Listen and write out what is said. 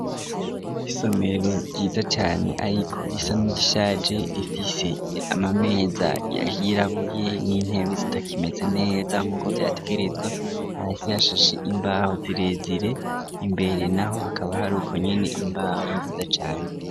Isomero ryiza cane ariko risa n'irishaje, rifise ama meza yirabuye n'intebe zitakimeze neza nkuko vyategerezwa, hasi hashashe imbaho zirezire, imbere naho hakaba hari ukonyene imbaho nziza cane.